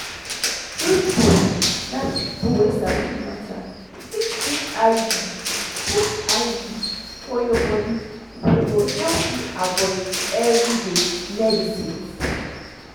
true-true na people wey sabi the matter fit put iud fit put iud for your body wey go help you avoid everyday medicines.